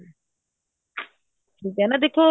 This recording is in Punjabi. ਠੀਕ ਏ ਨਾ ਦੇਖੋ